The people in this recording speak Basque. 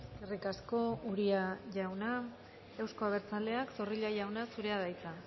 eskerrik asko uria jauna euzko abertzaleak zorrilla jauna zurea da hitza